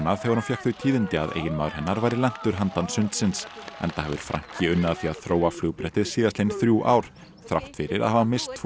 þegar hún fékk þau tíðindi að eiginmaður hennar væri lentur handan sundsins enda hefur Franky unnið að því að þróa síðastliðin þrjú ár þrátt fyrir að hafa misst tvo